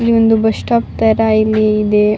ಇಲ್ಲಿ ಒಂದು bus stop ತರ ಇಲ್ಲಿ ಇದೆ --